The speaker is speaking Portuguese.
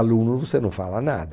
Aluno, você não fala nada.